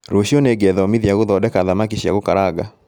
Rũciũ nĩngethomithia gũthondeka thamaki cia gũkaranga